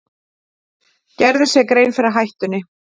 Gerðu sér grein fyrir hættunni